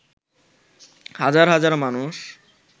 হাজার হাজার মানুষ